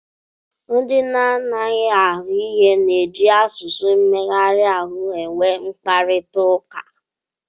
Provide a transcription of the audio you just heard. Ndị na-anaghị anụ ihe na-eji asụsụ mmegharị ahụ e nwe mkparịtaụka.